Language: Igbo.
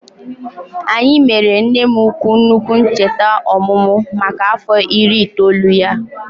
Anyị mere nne m ukwu nnukwu ncheta ọmụmụ maka afọ iri itoolu ya